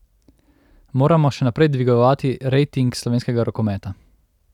Moramo še naprej dvigovati rejting slovenskega rokometa.